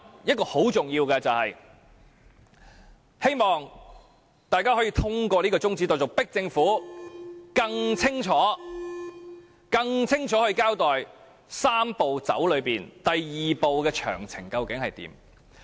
此外，很重要的一點，就是希望大家可以通過這項中止待續議案，迫使政府更清楚地交代"三步走"中第二步的詳情究竟為何。